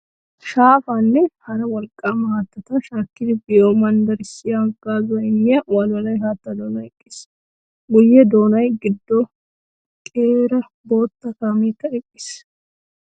Shaafaa nne hara wolqqaama haattata shaakkidi biyo manddaraassi haggaazuwa immiya wolwoloy haattaa doonan eqqiis. Guyyee dooya gido qeera bootta kaameekka eqqiis.